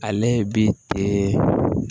Ale ye bi ten